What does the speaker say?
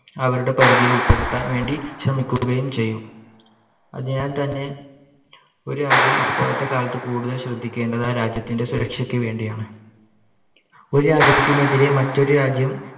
അവരുടെ പരിധിയിൽ ഉൾപ്പെടുത്താൻ വേണ്ടി ശ്രമിക്കുകയും ചെയ്യും. അതിനാൽ തന്നെ ഒരു രാജ്യം ഇപ്പോഴത്തെ കാലത്ത്‌ കൂടുതൽ ശ്രദ്ധിക്കേണ്ടത് ആ രാജ്യത്തിൻറെ സുരക്ഷയ്ക്ക് വേണ്ടിയാണ്. ഒരു രാജ്യത്തിനെതിരെ മറ്റൊരു രാജ്യം